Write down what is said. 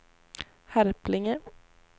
Harplinge